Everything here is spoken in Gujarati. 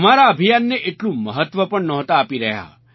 અમારા અભિયાનને એટલું મહત્ત્વ પણ નહોતા આપી રહ્યા